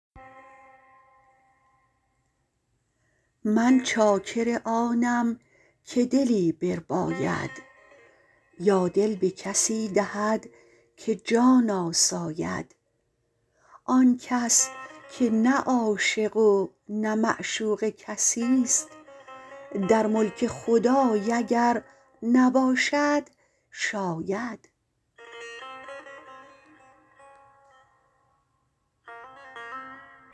من چاکر آنم که دلی برباید یا دل به کسی دهد که جان آساید آن کس که نه عاشق و نه معشوق کسیست در ملک خدای اگر نباشد شاید